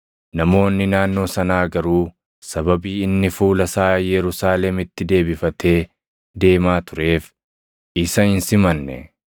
Namoonni naannoo sanaa garuu sababii inni fuula isaa Yerusaalemitti deebifatee deemaa tureef isa hin simanne.